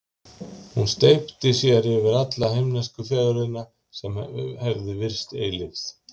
Hún steypti sér yfir alla himnesku fegurðina, sem hafði virst eilíf.